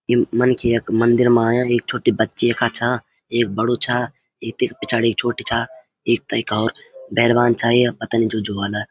यम मनखी यख मंदिर मा आयां एक छुट्टी बच्ची यखा छा एक बडू छा एक तिख पिछाड़ी छोटी छा एक तैका हौर बैर्बान छाई अब पतानी अब जू जू ह्वाला।